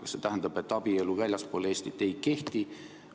Kas see tähendab, et abielu väljaspool Eestit ei kehti?